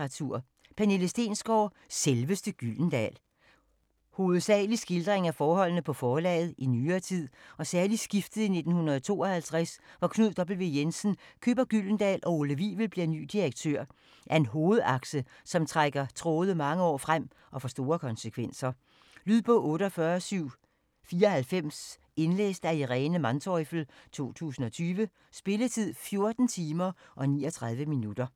Stensgaard, Pernille: Selveste Gyldendal Hovedsageligt skildring af forholdene på forlaget i nyere tid, og særligt skiftet i 1952, hvor Knud W. Jensen køber Gyldendal og Ole Wivel bliver ny direktør, er en hovedakse, som trækker tråde mange år frem og får store konsekvenser. Lydbog 48794 Indlæst af Irene Manteufel, 2020. Spilletid: 14 timer, 39 minutter.